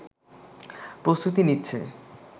প্রস্তুতি নিচ্ছে